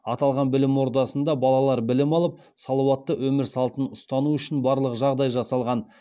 аталған білім ордасында балалар білім алып салауатты өмір салтын ұстану үшін барлық жағдай жасалған